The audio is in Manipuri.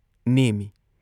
ꯅꯦꯝꯏ ꯫